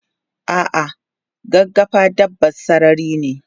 Ah ah gaggafa dabban sarari ne